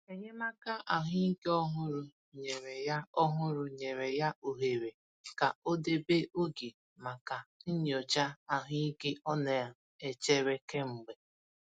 Enyémàkà ahụ́ ike òhùrù nyere ya òhùrù nyere ya ohere ka ọ debe oge maka nyocha ahụ́ ike ọ na-echere kemgbe.